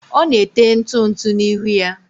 ọ na-ete ntụ ntụ n'ihu ya